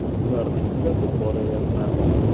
Ularni kuzatib boryapman.